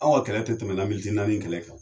Aw ka kɛlɛ tɛ tɛmɛ naani in kɛlɛ kan